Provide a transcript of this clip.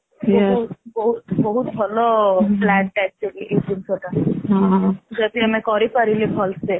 ବହୁତ ବହୁତ ଭଲ plan ଟା ଏଇଟା actually ଏଇ ଜିନିଷଟା ଯଦି ଆମେ କରିପାରିଲେ ଭଲସେ